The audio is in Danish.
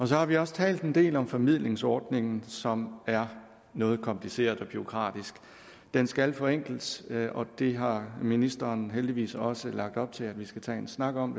så har vi også talt en del om formidlingsordningen som er noget kompliceret og bureaukratisk den skal forenkles og det har ministeren heldigvis også lagt op til at vi skal tage en snak om